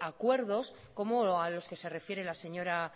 acuerdos como a los que se refiere la señora